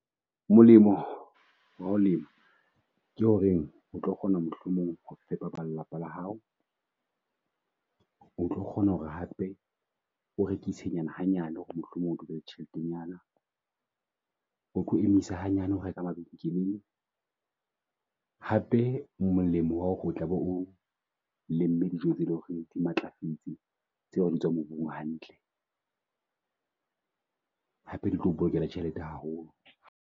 Molemo wa lema ke horeng o tlo kgona mohlomong fepa ba lelapa la hao. O tlo kgona hore hape o rekise nyana hanyane, mohlomong o be le tjheletenyana, o tlo emisa hanyane ho reka mabenkeleng. Hape molemo wa hore o tlabe o lemme dijo tse leng hore di matlafetse. Tse ding tsa mobu hantle, hape di tlo bolokela tjhelete haholo.